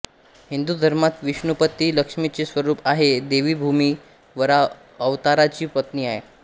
हिंदु धर्मात विष्णुपत्नी लक्ष्मीचे स्वरूप आहे देवी भूमी वराह अवताराची पत्नी आहे